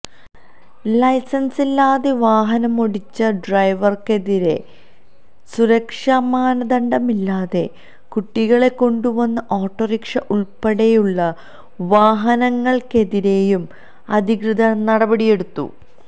ലൈസന്സില്ലാതെ വാഹനമോടിച്ച ഡ്രൈവര്ക്കെതിരെയും സുരക്ഷാ മാനദണ്ഡമില്ലാതെ കുട്ടികളെ കൊണ്ടുവന്ന ഓട്ടോറിക്ഷ ഉള്പ്പെടെയുള്ള വാഹനങ്ങള്ക്കെതിരേയും അധികൃതര് നടപടിയെടുത്തു